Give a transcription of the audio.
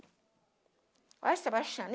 Olha Sebastiana